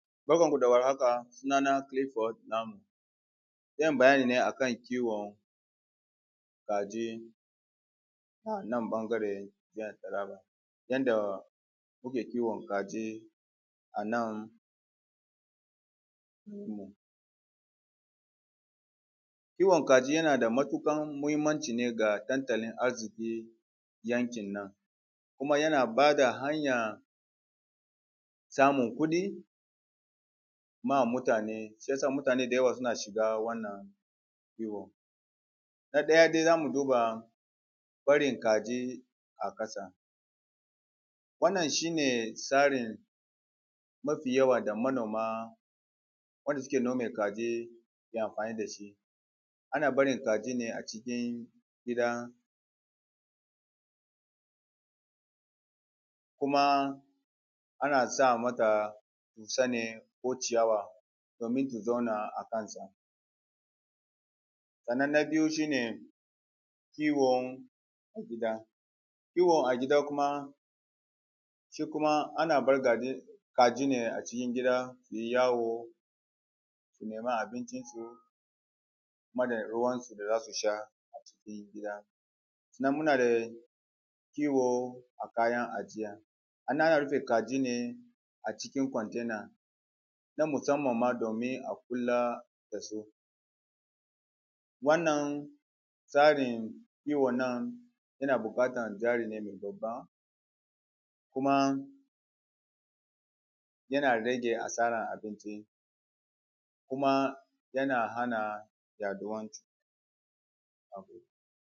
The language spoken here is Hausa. Barkan mu da warhaka, sunana Clifford Lamun, Zan yi bayani ne akan kiwon kaji a nan ɓangare jihar Taraba. Yanda muke kiwon kaji a nan yankinmu. Kiwon kaji yana da matuƙar muhimmanci ne ga tattalin arziƙi yankin nan, kuma yana ba da hanyar samun kuɗi ma mutane, shi ya sa mutane da yawa suna shiga wannan kiwon. Na ɗaya dai za mu duba barin kaji a ƙasa, wannan shi ne tsarin mafi yawan da manoma wanda su ke nome kaji ke amfani da shi. Ana barin kaji ne a cikin gida kuma ana sa mata dussa ne ko ciyawa domin su zauna a kansa. Sannan na biyu shi ne kiwon gida. Kiwo a gida shi kuma ana bar kaji ne a cikin gida su yi yawo su nema abincin su da ruwan su da za su sha a cikin gida. Sannan muna da kiwo a kayan ajiya, a nan ana rufe kaji ne a cikin container na musamman ma domin a kula da su. Wannan tsarin kiwon nan yana buƙatar jari ne babba kuma yana rage asarar abinci kuma yana hana yaɗuwan cu.